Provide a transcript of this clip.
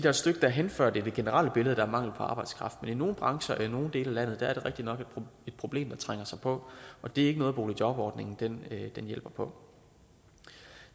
et stykke derhen før det er det generelle billede er mangel på arbejdskraft men i nogle brancher og i nogle dele af landet er der rigtig nok et problem der trænger sig på og det er ikke noget boligjobordningen hjælper på